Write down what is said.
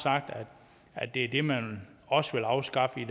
at det er det man også vil afskaffe i